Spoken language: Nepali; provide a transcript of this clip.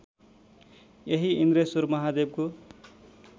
यही इन्द्रेश्वर महादेवको